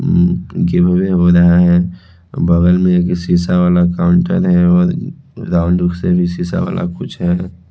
उंउं गिभ वे रहा है बगल में एक शीशा वाला काउंटर है और राउंड उससे भी शीशा वाला कुछ है।